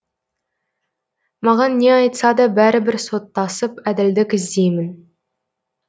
маған не айтса да бәрібір соттасып әділдік іздеймін